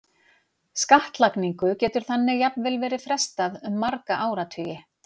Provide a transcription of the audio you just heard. Skattlagningu getur þannig jafnvel verið frestað um marga áratugi.